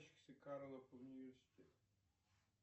карлов университет